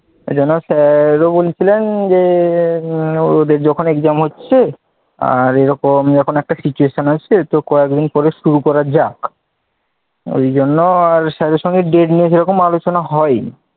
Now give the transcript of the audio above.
এই জন্য sir ও বলছিলেন যে এদের যখন exam হচ্ছে আর এরকম একটা situation এসেছে তো কয়েকদিন পরে শুরু করা যাক ঐ sir এর সঙ্গে আর date নিয়ে আলোচনা করা হয়নি,